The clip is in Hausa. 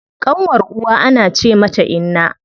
Ƙanwar uwa ana ce mata inna.